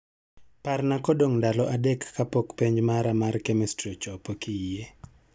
Parna kodong' ndalo adek kapok penj mara mar kemistri ochopo kiyie